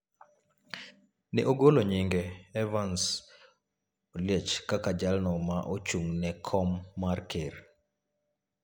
ne ogolo nyinge Evans Oliech kaka jalno ma ochung’ ne kom mar ker.